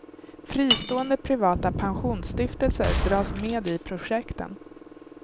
Fristående privata pensionsstiftelser dras med i projekten.